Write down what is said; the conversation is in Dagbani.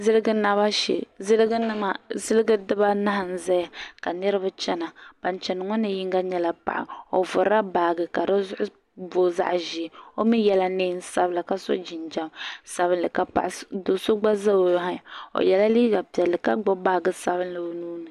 zilijigi naba shɛɛ zilijinima dɛdɛbaanahi n ʒɛya ka niriba chɛna ban chɛna ŋɔ ni yino nyɛla paɣ' o vurilabaagi ka di zuɣ' booi zaɣ' ʒiɛ o mi yɛla nɛɛm sabila ka so jinjam sabilinli ka paɣ' so do so gba ʒɛ o yɛla liga piɛlli ka gbabi baagi sabinli